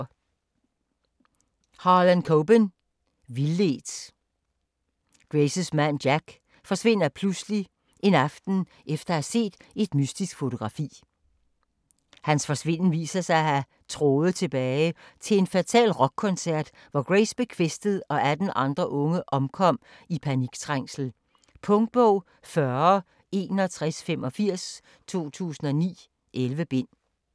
Coben, Harlan: Vildledt Graces mand Jack forsvinder pludselig en aften efter at have set et mystisk fotografi. Hans forsvinden viser sig at have tråde tilbage til en fatal rockkoncert, hvor Grace blev kvæstet og 18 andre unge omkom i paniktrængsel. Punktbog 406185 2009. 11 bind.